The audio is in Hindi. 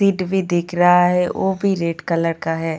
सीट भी दिख रहा है वो भी रेड कलर का है.